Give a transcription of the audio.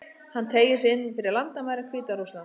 Hann teygir sig inn fyrir landamæri Hvíta-Rússlands.